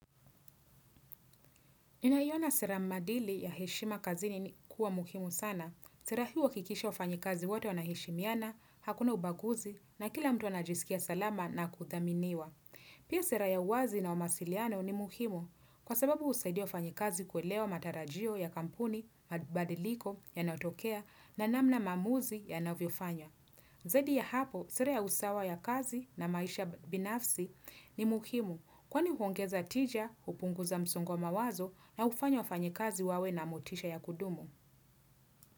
Ninayiona sera maadili ya heshima kazini ni kuwa muhimu sana. Sera hii huwakikisha wafanyikazi wote wanaheshimiana, hakuna ubaguzi na kila mtu anajisikia salama na kuthaminiwa. Pia sera ya wazi na wa mawasiliano ni muhimu kwa sababu husaidia wafanyi kazi kuelewa matarajio ya kampuni, mabadiliko yanaotokea na namna maamuzi yanavyofanywa. Zaidi ya hapo, sere ya usawa ya kazi na maisha binafsi ni mukimu kwani huongeza tija hupunguza msungo mawazo na hufanya wafanyi kazi wawe na motisha ya kudumu.